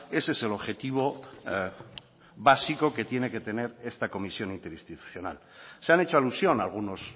ese es el objetivo básico que tiene que tener esta comisión interinstitucional se han hecho alusión algunos